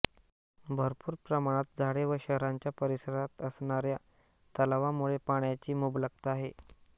भरपूर प्रमाणात झाडे व शहराच्या परिसरात असणाऱ्या तलावांमुळे पाण्याची मुबलकता आहे